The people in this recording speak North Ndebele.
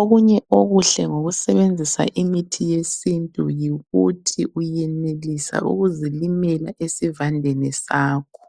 Okunye okuhle ngokusebenzisa imithi yesintu yikuthi uyenelisa ukuzilimela esivandeni sakho.